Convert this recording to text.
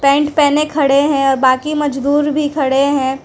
Pant पहने खड़े हैं और बाकी मजदूर भी खड़े हैं।